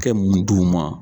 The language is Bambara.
kɛ mun d'u ma.